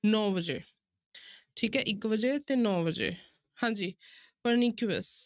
ਨੋਂ ਵਜੇ ਠੀਕ ਹੈ ਇੱਕ ਵਜੇ ਤੇ ਨੋਂ ਵਜੇ ਹਾਂਜੀ pernicious